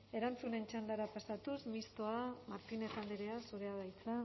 erantzunen txandara tasatuz mistoa martínez andrea zurea da hitza